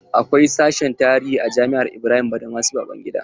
Akwai sashen tarihi a jami'ar Ibrahim badamasi Babangida.